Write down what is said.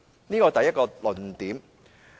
這是第一個論點。